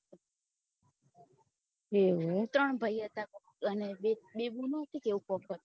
એવું એમ ત્રણ ભાઈ હતા કોકે અને બે બુનો કે એવું કઈ હતું